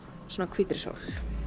hvítri sól